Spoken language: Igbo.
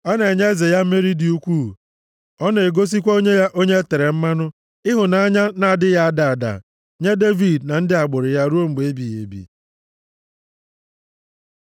Ọ na-enye eze ya mmeri dị ukwuu; Ọ na-egosikwa onye ya onye e tere mmanụ ịhụnanya na-adịghị ada ada, nye Devid na ndị agbụrụ ya ruo mgbe ebighị ebi.